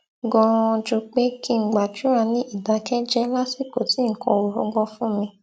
ganan ju pé kí n gbàdúrà ní ìdákéjéé lásìkò tí nǹkan ò rọgbọ fún mi